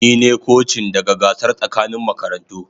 Ni ne kocin daga gasar tsakanin makarantu.